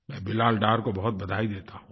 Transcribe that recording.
मैं बिलाल डार को बहुत बधाई देता हूँ